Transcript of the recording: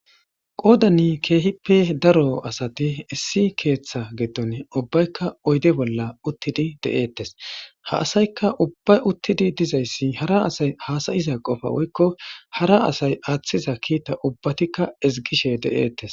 qoodani keehippe daro asati issi keeththa gidon ubbaykka oyde bolla uttidi de7eettes ha asayka ubbay uttidi dizayssi hara asay haasayiza qofa woykko hara asay aaththiza kiita ubbatikka izgishe de7eettes